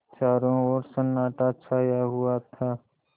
चारों ओर सन्नाटा छाया हुआ था